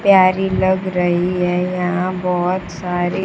प्यारी लग रही है यहां बहोत सारी--